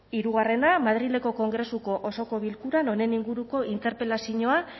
hirugarrena madrileko kongresuko osoko bilkuran honen inguruko interpelazinoa